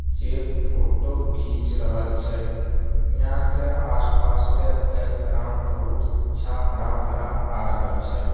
जे फोटो घिंच रहल छै यहाँ के आसपास के बैकग्राउंड बहुत अच्छा हरा-भरा आ रहल छै।